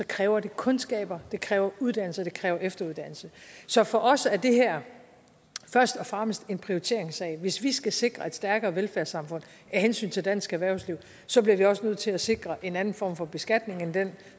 kræver kundskaber det kræver uddannelse og det kræver efteruddannelse så for os er det her først og fremmest en prioriteringssag hvis vi skal sikre et stærkere velfærdssamfund af hensyn til dansk erhvervsliv bliver vi også nødt til at sikre en anden form for beskatning end den